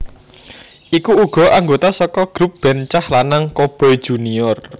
Iku uga anggota saka grup band cah lanang Coboy Junior